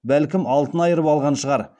бәлкім алтын айырып алған шығар